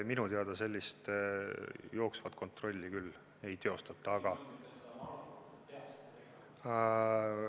Minu teada sellist jooksvat kontrolli ei teostata, aga ...